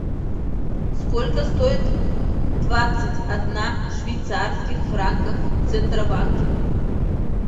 сколько стоит двадцать одна швейцарских франков в центробанке